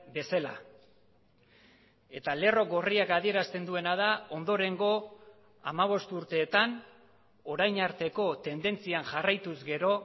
bezala eta lerro gorriak adierazten duena da ondorengo hamabost urteetan orain arteko tendentzian jarraituz gero